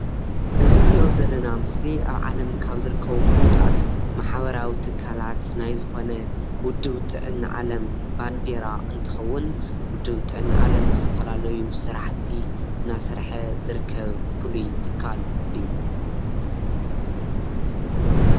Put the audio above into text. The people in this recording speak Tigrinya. እዚ እንሪኦ ዘለና ምስሊ ኣብ ዓለም ካብ ዝርከቡ ፉለጣት ማሕበራዊ ትካላት ናይ ዝኮነ ውድብ ጥዕና ዓለም ባንዴራ እንትከውን ውድብ ጥዕና ዓለም ንዝተፈላለዩ ስራሕቲ እና ሰርሐ ዝርከብ ፍሉይ ትካል እዩ፡፡